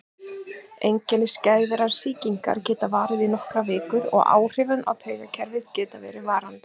Einkenni skæðrar sýkingar geta varað í nokkrar vikur og áhrif á taugakerfið geta verið varanleg.